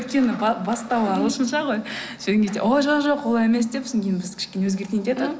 өйткені бастауы ағылшынша ғой сол кезде ой жоқ жоқ олай емес деп содан кейін біз кішкене өзгертейін дедік